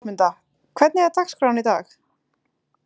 Rósmunda, hvernig er dagskráin í dag?